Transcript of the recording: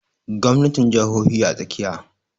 Gwamnatin jahohi a tsakiya